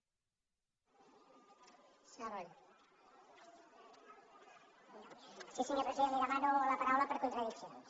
sí senyor president li demano la paraula per contradiccions